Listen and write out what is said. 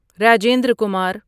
Rajendra Kumar